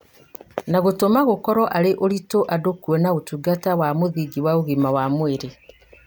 na gũtũma gũkorwo arĩ ũritũ andũ kuona ũtungata wa mũthingi wa ũgima wa mwĩrĩ